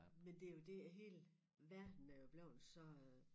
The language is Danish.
Men det jo det at hele verden er jo blevet så øh